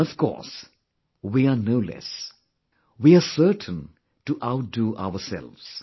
And, of course, we are no less... we are certain to outdo ourselves